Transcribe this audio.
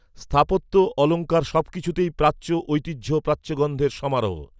স্থাপত্য অলঙ্কার সব কিছুতেই, প্রাচ্য, ঐতিহ্য, প্রাচ্যগন্ধের সমারোহ